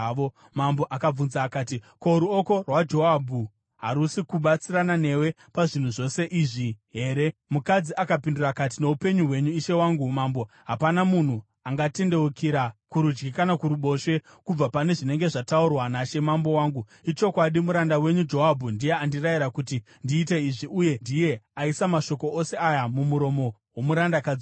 Mambo akabvunza akati, “Ko, ruoko rwaJoabhu harusi kubatsirana newe pazvinhu zvose izvi here?” Mukadzi akapindura akati, “Noupenyu hwenyu, ishe wangu mambo, hapana munhu angatendeukira kurudyi kana kuruboshwe kubva pane zvinenge zvataurwa nashe mambo wangu. Ichokwadi, muranda wenyu Joabhu ndiye andirayira kuti ndiite izvi uye ndiye aisa mashoko ose aya mumuromo womurandakadzi wenyu.